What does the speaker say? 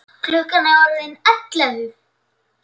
Klukkan er orðin ellefu!